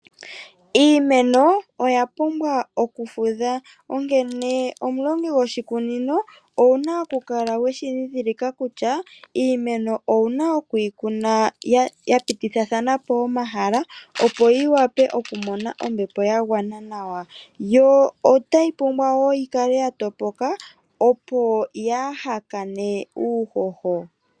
Iimeno oya pumbwa oku fudha onkene omulongi goshikunino owuna okukala weshi ndhidhilika kutya iimeno owuna okuyi kuna ya pitithathanapo omahala opo yi wape okumona ombepo ya gwana nawa yo otayi pumbwa wo okukala ya topoka opo yaa hakane uuhoho.